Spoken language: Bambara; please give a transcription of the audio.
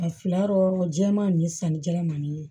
A fila rɔ jɛman ni sanni jalan man di